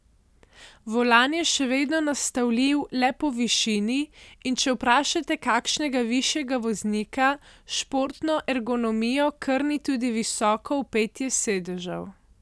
Volan je še vedno nastavljiv le po višini, in če vprašate kakšnega višjega voznika, športno ergonomijo krni tudi visoko vpetje sedežev.